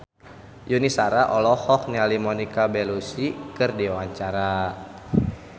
Yuni Shara olohok ningali Monica Belluci keur diwawancara